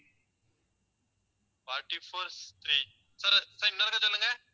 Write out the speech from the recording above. forty four three sir~sir இன்னொரு தடவை சொல்லுங்க